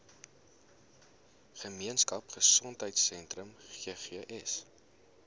gemeenskap gesondheidsentrum ggs